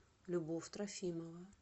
любовь трофимова